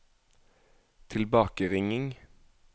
tilbakeringing